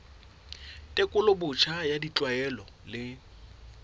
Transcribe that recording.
tekolo botjha ya ditlwaelo le